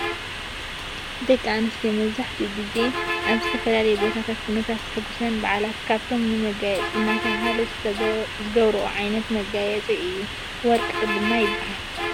ደቂ ኣንስትዮ መብዛሕቲኡ ግዜ ኣብ ዝተፈላለየ ቦታታት ኩነታት ዘሕጉስን ብዓላትን ካብቶም ንመጋየፂ እናተባህለ ዝገብረኦ ዓይነት መጋየፂ እዩ። ወርቂ ይብሃል ።